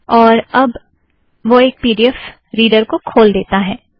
और अब वह एक पी ड़ी एफ़ रीड़र को खोल देता है